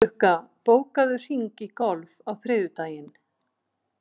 Lukka, bókaðu hring í golf á þriðjudaginn.